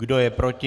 Kdo je proti?